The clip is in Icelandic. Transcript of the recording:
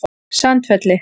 Sandfelli